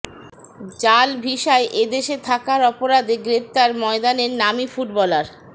জাল ভিসায় এ দেশে থাকার অপরাধে গ্রেফতার ময়দানের নামী ফুটবলার